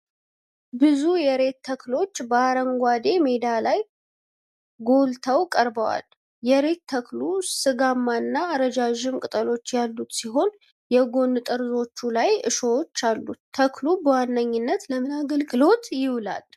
ብዙ የሬት ተክሎች በአረንጓዴ ሜዳ ላይ ጎልተው ቀርበዋል። የሬት ተክሉ ሥጋማና ረዣዥም ቅጠሎች ያሉት ሲሆን የጎን ጠርዞቹ ላይ እሾሆች አሉ። ተክሉ በዋነኛነት ለምን አገልግሎት ይውላል?